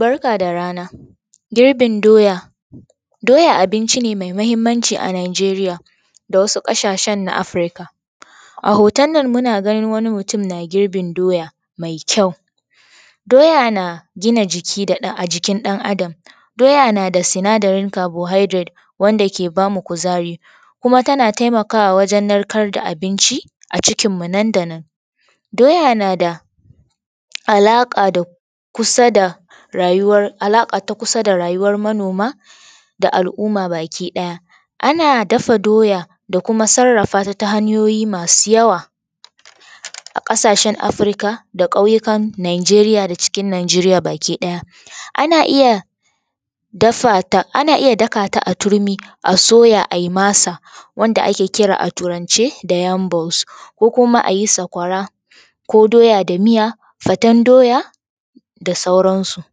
Barka da rana girbin doya, doya abinci ne mai mahimmanci a Nijeriya da wsu kasashen Africa. A hoton nan muna ganin wani mutum na girbin mai ƙyau, doya na gina jiki ɗan Adam. Doya na da sindarin carbohydrate wanda ke ba mu kuzari kuma tana taimakawa wajen narkar da abinci a cikinmu nan da nan. Doya na da alaƙa ta kusa da rayuwar manoma da alumma ba ki ɗaya. Ana dafa doya da kuma sarrafata ta hanyoyin masu yawa a ƙasashen Afirka da kauyukan nijeri da cikin Najeriya baki daya. Ana iya daka ta a turmi a soya a yi masa wanda ake kira a turance da yam bounce ko kuma a yi sakwara ko doya da miya ko fatan doya da sauranasu.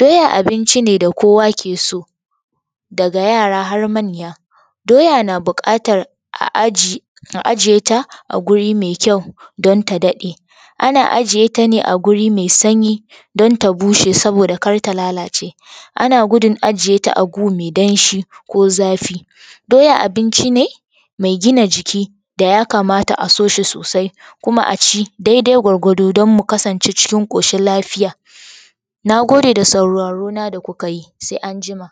Doya abinci ne da kowa ke sod daga yara har manya, doya na buƙatar a ajiye ta guri mai ƙyau don ta daɗe ana sjiye ta ne a guri mai sanyi don ta bushe kar ta lalace, na gudun ajiye ta a gu mai danshi ko zafi. Doya abinci ne mai gina jiki da ya kamata a so shi sosai kuma a ci daidai gwargwado don munkasance cikin koshin lafiya. Na gode da sauraro na da kuka yi. Sai anjima.